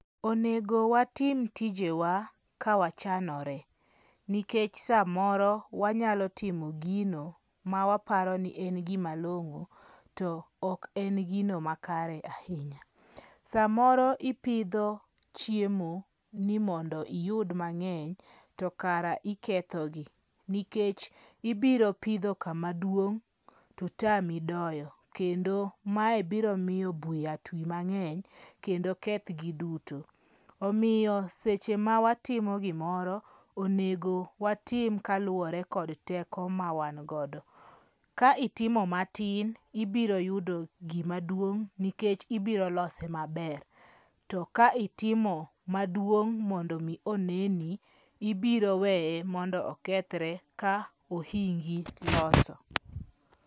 Onego watim tijewa kawachanore, nikech samoro wanyalo timo gino mawaparo ni en gima long'o to ok en gima kare ahinya. Samoro ipidho chiemo ni mondo iyud mang'eny to kara ikethogi. Nikech ibiro pidho kama duong' to tami doyo, kendo mae biro miyo buya ti mang'eny kendo kethgi duto. Omiyo seche ma watimo gimoro, onego watim kaluwore kod teko ma wangodo. Ka itimo matin ibiro yudo gima duong' nikech ibiro lose maber. To ka itimo maduong' mondo mi oneni, ibiro weye mondo mi okethre ka ohingi loso.